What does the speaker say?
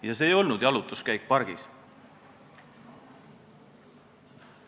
Ja see ei olnud jalutuskäik pargis.